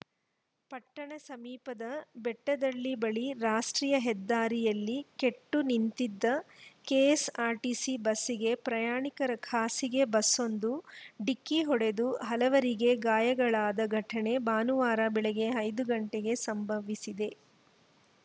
ಪಟ್ಟಣ ಸಮೀಪದ ಬೆಟ್ಟದಹಳ್ಳಿ ಬಳಿ ರಾಷ್ಟ್ರೀಯ ಹೆದ್ದಾರಿಯಲ್ಲಿ ಕೆಟ್ಟು ನಿಂತಿದ್ದ ಕೆಎಸ್‌ಆರ್‌ಟಿಸಿ ಬಸ್‌ಗೆ ಪ್ರಯಾಣಿಕರ ಖಾಸಗೆ ಬಸ್ಸೊಂದು ಡಿಕ್ಕಿ ಹೊಡೆದು ಹಲವರಿಗೆ ಗಾಯಗಳಾದ ಘಟನೆ ಭಾನುವಾರ ಬೆಳಗ್ಗೆ ಐದು ಗಂಟೆಗೆ ಸಂಭವಿಸಿದೆ